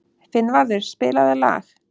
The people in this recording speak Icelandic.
Finnvarður, spilaðu lag.